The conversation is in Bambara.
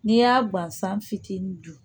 N'i y'a ban san fitinin dun